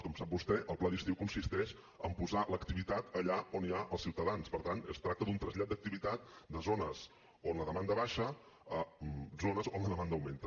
com sap vostè el pla d’estiu consisteix en posar l’activitat allà on hi ha els ciutadans per tant es tracta d’un trasllat d’activitat de zones on la demanda baixa a zones on la demanda augmenta